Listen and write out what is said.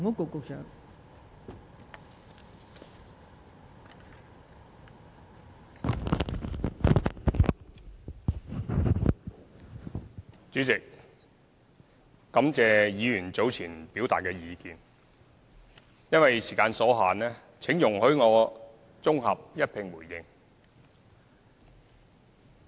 代理主席，感謝議員早前表達的意見，因為時間所限，請容許我綜合一併回應。